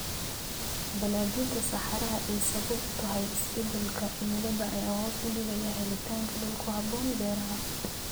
Balaadhinta saxaraha ay sabab u tahay isbedelka cimilada ayaa hoos u dhigaya helitaanka dhul ku haboon beeraha.